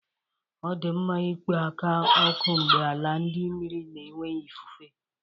Ọ dị mma ịkpọ ala oku mgbe ala dị mmiri na enweghị ifufe.